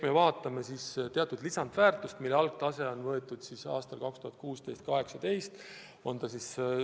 Tegu teatud lisandväärtusega, mille algtase on võetud aastatel 2016–2018.